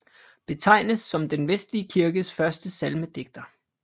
Betegnes som den vestlige kirkes første salmedigter